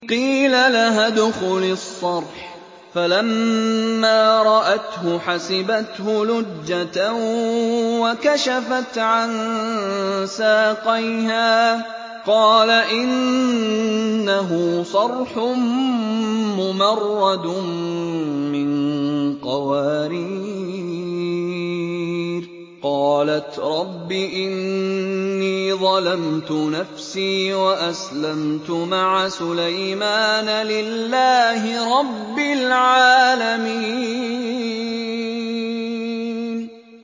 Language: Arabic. قِيلَ لَهَا ادْخُلِي الصَّرْحَ ۖ فَلَمَّا رَأَتْهُ حَسِبَتْهُ لُجَّةً وَكَشَفَتْ عَن سَاقَيْهَا ۚ قَالَ إِنَّهُ صَرْحٌ مُّمَرَّدٌ مِّن قَوَارِيرَ ۗ قَالَتْ رَبِّ إِنِّي ظَلَمْتُ نَفْسِي وَأَسْلَمْتُ مَعَ سُلَيْمَانَ لِلَّهِ رَبِّ الْعَالَمِينَ